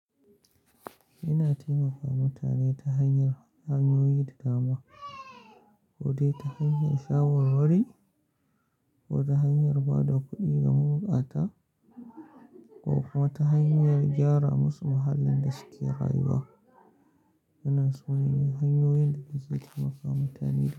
Ina taimaka mutane ta hanyar hanyoyi da dama, ko dai ta hanyar shawar wari wuri, ko ta hanyar ba da kuɗi ga mabukata, ko kuma ta hanyar gyara musu muhallin da suke rayuwa. Wannan sune hanyoyin danake taimaka mutane.